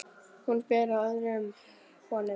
Hún ber af öðrum konum.